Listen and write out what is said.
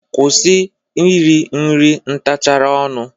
Kwusi iri nri ntachara ọnụ!